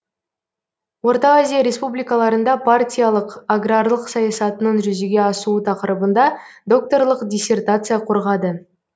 орта азия республикаларында партиялық аграрлық саясатының жүзеге асуы тақырыбында докторлық диссертация қорғады